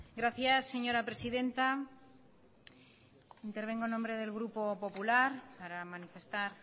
gracias señora presidenta intervengo en nombre del grupo popular para manifestar